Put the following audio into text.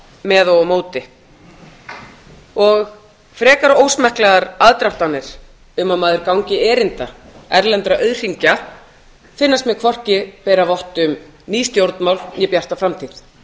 með og á móti og frekar ósmekklegar aðdróttanir um að maður gangi erinda erlendra auðhringa finnast mér hvorki bera vott um ný stjórnmál né bjarta framtíð